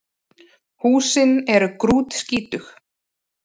Húsin séu grútskítug